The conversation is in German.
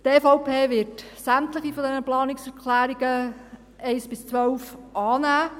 Die EVP wird sämtliche dieser Planungserklärungen 1–12 annehmen.